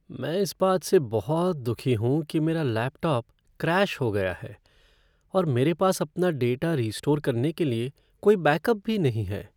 मैं इस बात से बहुत दुखी हूँ कि मेरा लैपटॉप क्रैश हो गया है और मेरे पास अपना डेटा रीस्टोर करने के लिए कोई बैकअप भी नहीं है।